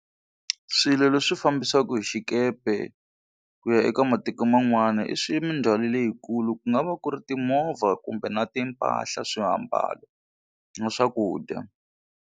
Swilo leswi fambisiwaku hi xikepe ku ya eka matiko man'wana i swi mindzhwalo leyikulu ku nga va ku ri timovha kumbe na timpahla, swiambalo na swakudya.